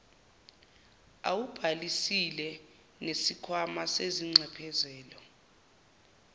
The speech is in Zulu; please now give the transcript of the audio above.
awubhalisile nesikhwama sezinxephezelo